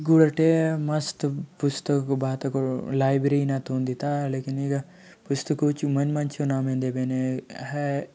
गोटे मस्त पुस्तक बाट लाइब्रेरी थोन दीथा लेकिन एथा पुस्तकों चो मन मंचे नाम एदे हय।